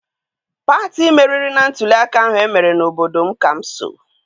Pati meriri na ntụliaka ahụ emere na obodo m ka m so.